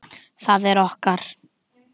Það er okkar.